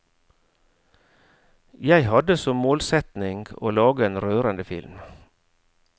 Jeg hadde som målsetning å lage en rørende film.